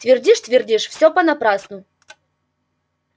твердишь твердишь всё понапрасну